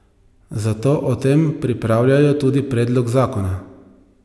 Zato o tem pripravljajo tudi predlog zakona.